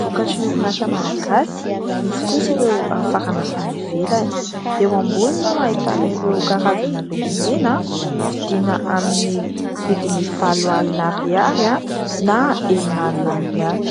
vokatrin'ny orinasa malagasy ; misy kosa ireo afarana avy any ivelany. Eo ambony no ahitana ireo karazana lokomena vidina amin'ny vidiny valo alina ariary na enina alina ariary.